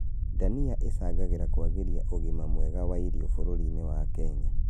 Ndania icangagĩra kwagĩria ũgima mwega wa irio bũrũri-inĩ wa Kenya